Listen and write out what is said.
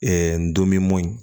ndomo ye